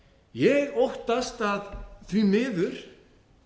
ég óttast að því miður